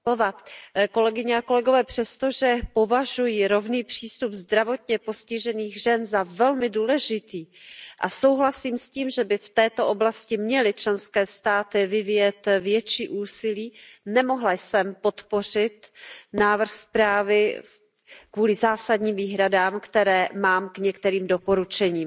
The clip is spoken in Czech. Paní předsedající, přestože považuji rovný přístup zdravotně postižených žen za velmi důležitý a souhlasím s tím, že by v této oblasti měly členské státy vyvíjet větší úsilí, nemohla jsem podpořit návrh zprávy kvůli zásadním výhradám, které mám k některým doporučením.